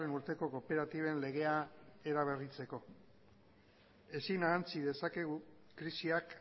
urteko kooperatiben legea eraberritzeko ezin ahantzi dezakegu krisiak